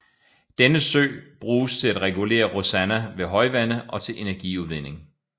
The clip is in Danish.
Denne sø bruges til at regulere Rosanna ved højvande og til energiudvinding